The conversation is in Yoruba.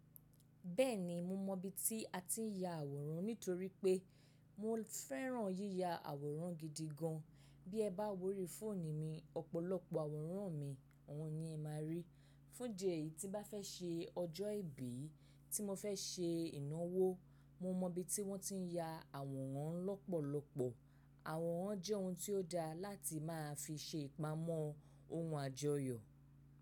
Bẹ́ẹ̀ni mo mọ ibi tí a ti ń ya àwòrán nítorí pé mò fẹ́ràn yíya àwòrán gidi gan. Bí ẹ bá wórí fóònù mi, ọ̀pọ̀lọpọ̀ àwòrán mi, àwọn ni ẹ máa rí. Fún idi eyi tí mo bá fẹ́ ṣe ọjọ́ ìbí, tí mo fẹ́ ṣe ìnáwó, mo mọ ibi tí wọ́n ti ń ya àwòrán lọ́pọ̀lọpọ̀. Àwòrán jẹ́ ohun tí ó dáa láti máa fi ṣe ìpamọ́ ohun àjọyọ̀.